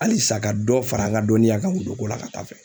Halisa ka dɔ fara n ka dɔnniya kan wuluko la ka taa fɛ.